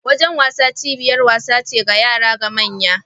Wajen wasa cibiyar wasa ce ga yara da manya.